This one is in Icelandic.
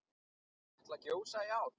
Mun Katla gjósa í ár?